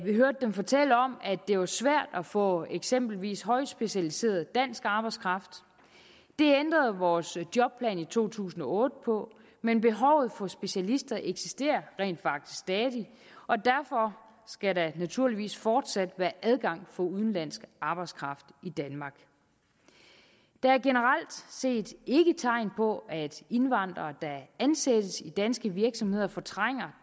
fortælle om at det var svært at få eksempelvis højt specialiseret dansk arbejdskraft det ændrede vores jobplan i to tusind og otte på men behovet for specialister eksisterer rent faktisk stadig og derfor skal der naturligvis fortsat være adgang for udenlandsk arbejdskraft i danmark der er generelt set ikke tegn på at indvandrere der ansættes i danske virksomheder fortrænger